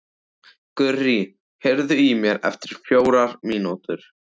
Gurrí, heyrðu í mér eftir fjórar mínútur.